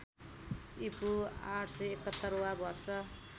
ईपू ८७१ वा वर्ष